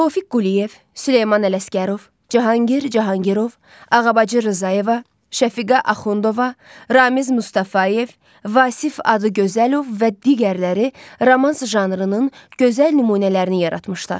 Tofiq Quliyev, Süleyman Ələsgərov, Cahangir Cahangirov, Ağabacı Rzayeva, Şəfiqə Axundova, Ramiz Mustafayev, Vasif Adıgözəlov və digərləri romans janrının gözəl nümunələrini yaratmışlar.